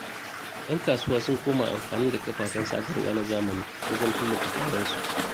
Yan kasuwa sun koma amfani da kafafen sadarwa na zamani wajen tallata kayansu.